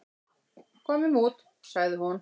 """Komum út, sagði hún."""